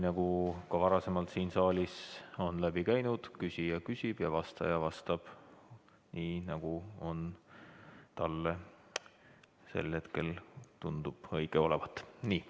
Nagu ka varem siin saalis on läbi käinud, küsija küsib ja vastaja vastab nii, nagu talle sel hetkel tundub õige olevat.